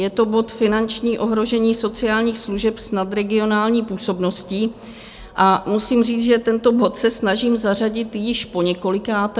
Je to bod Finanční ohrožení sociálních služeb s nadregionální působností a musím říct, že tento bod se snažím zařadit již po několikáté.